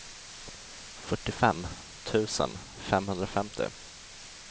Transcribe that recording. fyrtiofem tusen femhundrafemtio